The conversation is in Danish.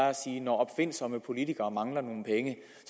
at sige når opfindsomme politikere mangler nogle penge